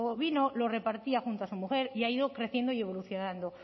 vino lo repartía junto a su mujer y ha ido creciendo y evolucionando